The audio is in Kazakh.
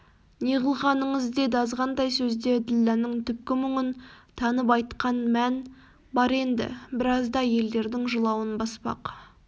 неғылғаныңыз деді азғантай сөзде ділдәнің түпкі мұңын танып айтқан мән бар енді біразда әйедердің жылауын баспақ